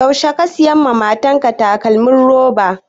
Yaushe ka saya mata takalmin roba?